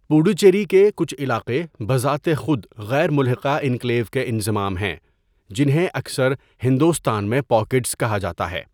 پڈوچیری کے کچھ علاقے بذات خود غیر ملحقہ انکلیو کے انضمام ہیں، جنہیں اکثر ہندوستان میں 'پاکیٹز' کہا جاتا ہے۔